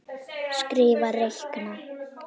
Skrifa- reikna